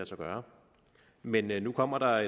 sig gøre men men nu kommer der